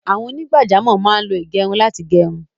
Àwọn onígbàjámọ̀ máá lo ìgẹrun láti gẹrun